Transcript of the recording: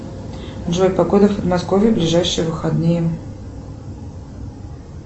джой погода в подмосковье в ближайшие выходные